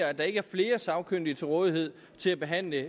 at der ikke er flere sagkyndige til rådighed til at behandle